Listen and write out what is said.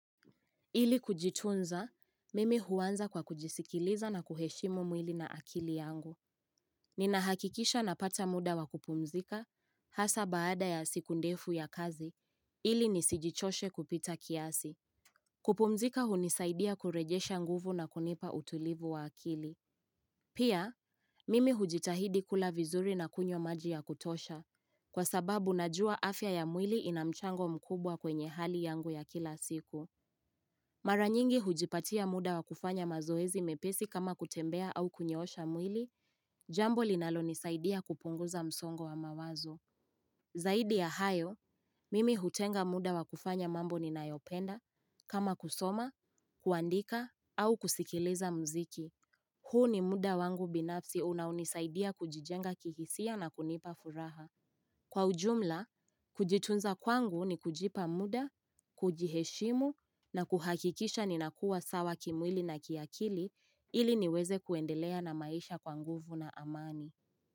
Ili kujitunza, mimi huanza kwa kujisikiliza na kuheshimu mwili na akili yangu. Ninahakikisha napata muda wa kupumzika, hasa baada ya siku ndefu ya kazi, ili nisijichoshe kupita kiasi. Kupumzika hunisaidia kurejesha nguvu na kunipa utulivu wa akili. Pia, mimi hujitahidi kula vizuri na kunywa maji ya kutosha, kwa sababu najua afya ya mwili ina mchango mkubwa kwenye hali yangu ya kila siku. Mara nyingi hujipatia muda wa kufanya mazoezi mepesi kama kutembea au kunyoosha mwili, jambo linalonisaidia kupunguza msongo wa mawazo. Zaidi ya hayo, mimi hutenga muda wa kufanya mambo ninayopenda kama kusoma, kuandika au kusikiliza mziki. Huu ni muda wangu binafsi unaonisaidia kujijenga kihisia na kunipa furaha. Kwa ujumla, kujitunza kwangu ni kujipa muda, kujiheshimu na kuhakikisha ninakua sawa kimwili na kiakili ili niweze kuendelea na maisha kwa nguvu na amani.